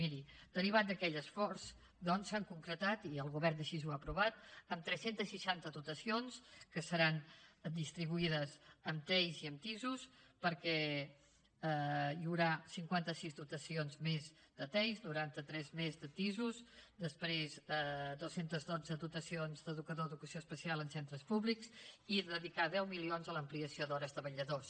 miri derivat d’aquell esforç doncs s’han concretat i el govern així ho ha aprovat tres cents i seixanta dotacions que seran distribuïdes en tei i en tis perquè hi haurà cinquanta sis dotacions més de tei noranta tres més de tis després dos cents i dotze dotacions d’educador d’educació especial en centres públics i dedicar deu milions a l’ampliació d’hores de vetlladors